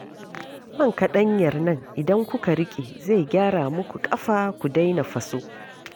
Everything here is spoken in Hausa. Man kaɗanyar nan idan kuka riƙe, zai gyara muku ƙafa ku daina faso